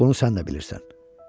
Bunu sən də bilirsən.